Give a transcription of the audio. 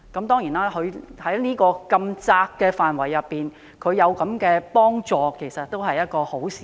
當然，在如此狹窄的範圍內提供幫助是一件好事。